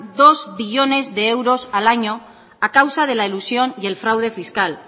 dos billones de euros al año a causa de la elusión y el fraude fiscal